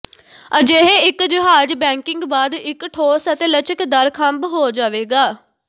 ਅਜਿਹੇ ਇੱਕ ਜਹਾਜ਼ ਬੇਕਿੰਗ ਬਾਅਦ ਇੱਕ ਠੋਸ ਅਤੇ ਲਚਕਦਾਰ ਖੰਭ ਹੋ ਜਾਵੇਗਾ